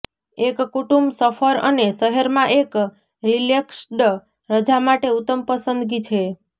એક કુટુંબ સફર અને શહેરમાં એક રિલેક્સ્ડ રજા માટે ઉત્તમ પસંદગી છે